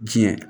Diɲɛ